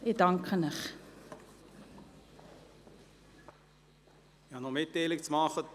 Ich habe eine Mitteilung zu machen: